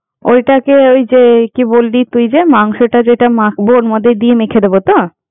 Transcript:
ঐটাকে ওই যে, কি বললি তুই যে মাংসটা যেটা মাখবো ওর মধ্যে দিয়ে মেখে দেব তো।